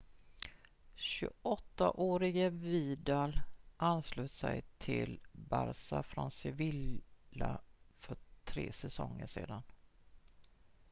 28-åriga vidal anslöt sig till barça från sevilla för tre säsonger sedan